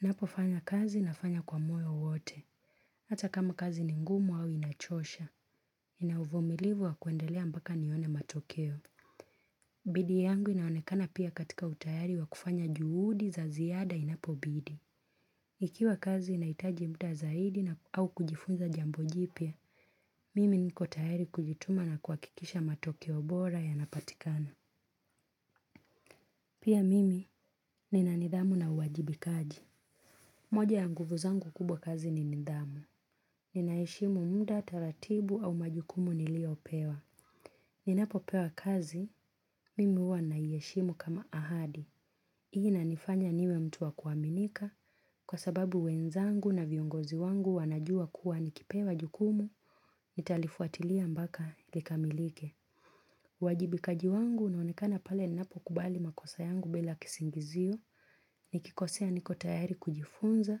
Napo fanya kazi na fanya kwa moyo wote. Hata kama kazi ni ngumu au inachosha. Ina uvumilivu wa kuendelea mpaka nione matokeo. Bidii yangu inaonekana pia katika utayari wa kufanya juhudi za ziada inapo bidi. Ikiwa kazi inaitaji muda zaidi na au kujifunza jambojipya, mimi niko tayari kujituma na kuakikisha matokeobora ya napatikana. Pia mimi nina nidhamu na uwajibikaji. Moja ya nguvu zangu kubwa kazi ni nidhamu. Ninaheshimu muda, taratibu au majukumu nilio pewa. Ninapo pewa kazi, mimi huwa naieshimu kama ahadi. Hii na nifanya niwe mtu wa kuaminika kwa sababu wenzangu na viongozi wangu wanajua kuwa nikipewa jukumu nitalifuatilia mpaka likamilike. Wajibikaji wangu na unaonekana pale ninapo kubali makosa yangu bila kisingizio ni kikosea niko tayari kujifunza,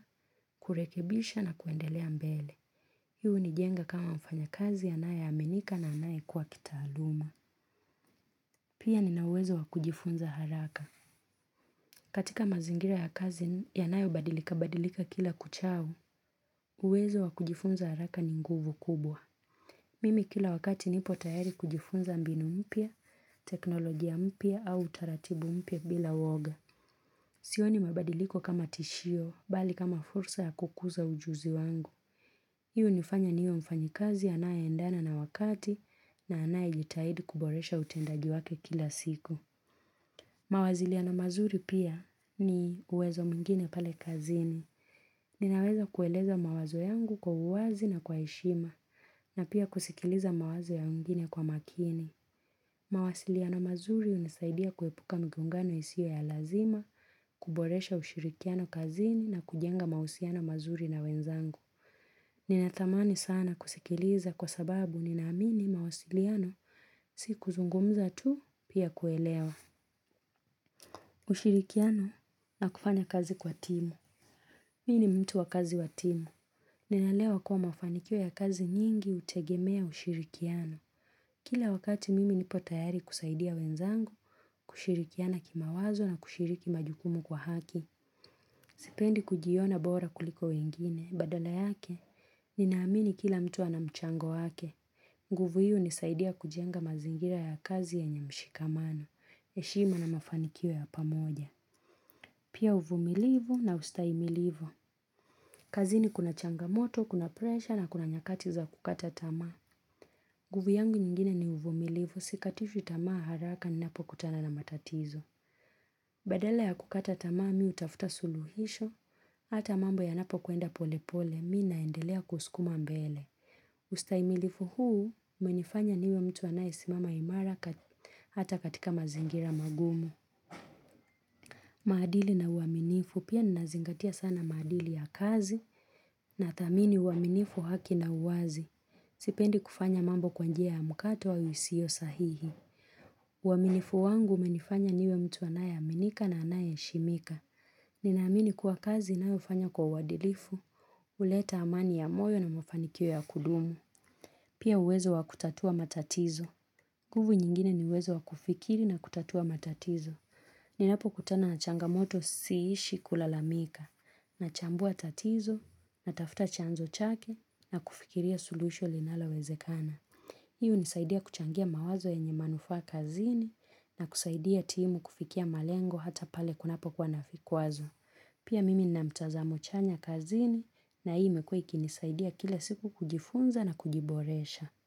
kurekebisha na kuendelea mbele. Hii unijenga kama mfanya kazi anayeaminika na anayekua kitaaluma. Pia nina uwezo wa kujifunza haraka. Katika mazingira ya kazi, yanayo badilika badilika kila kuchao, uwezo wa kujifunza haraka ni nguvu kubwa. Mimi kila wakati nipo tayari kujifunza mbinu mpya, teknolojia mpya au utaratibu mpya bila uoga. Sio ni mabadiliko kama tishio, bali kama fursa ya kukuza ujuzi wangu. Hii unifanya niwe mfanyi kazi, anaye endana na wakati na anaye jitahidi kuboresha utendaji wake kila siku. Mawaziliano mazuri pia ni uwezo mwingine pale kazini. Ninaweza kueleza mawazo yangu kwa uwazi na kwa heshima na pia kusikiliza mawazo ya wengine kwa makini. Mawasiliano mazuri unisaidia kuepuka mgongano isio ya lazima, kuboresha ushirikiano kazini na kujenga mausiano mazuri na wenzangu. Ninatamani sana kusikiliza kwa sababu ninaamini mawasiliano si kuzungumza tu pia kuelewa. Ushirikiano na kufanya kazi kwa timu Miini mtu wa kazi wa timu ninaelewa kuwa mafanikio ya kazi nyingi utegemea ushirikiano Kila wakati mimi nipo tayari kusaidia wenzangu kushirikiana kima wazo na kushiriki majukumu kwa haki Sipendi kujiona bora kuliko wengine, badala yake Ninaamini kila mtu anamchango wake nguvu hii unisaidia kujenga mazingira ya kazi yenye mshikamano heshima na mafanikio ya pamoja Pia uvumilivu na ustaimilivu. Kazi ni kuna changamoto, kuna pressure na kuna nyakati za kukata tamaa. Nguvu yangu nyingine ni uvumilivu, sikatishwi tamaa haraka ni napo kutana na matatizo. Badala ya kukata tamaa miu tafuta suluhisho, hata mambo ya napo kuenda pole pole, mi naendelea kuskuma mbele. Ustaimilifu huu, umenifanya niwe mtu anayesimama imara hata katika mazingira magumu. Maadili na uaminifu pia nazingatia sana maadili ya kazi na thamini uaminifu haki na uwazi. Sipendi kufanya mambo kwa njia ya mkato au isiyo sahihi. Uaminifu wangu umenifanya niwe mtu anaye aminika na anayehe shimika. Ninaamini kuwa kazi ninayofanya kwa uadilifu. Uleta amani ya moyo na mafanikio ya kudumu. Pia uwezo wa kutatua matatizo. Nguvu nyingine ni uwezo wa kufikiri na kutatua matatizo. Ninapo kutana na changamoto siishi kulalamika, na chambua tatizo, na tafta chanzo chake, na kufikiria solution linalo wezekana. Hii u nisaidia kuchangia mawazo yenye manufaa kazini, na kusaidia timu kufikia malengo hata pale kunapo kuwa navikwazo. Pia mimi ninamtazamo chanya kazini, na hii imekuwa ikinisaidia kila siku kujifunza na kujiboresha.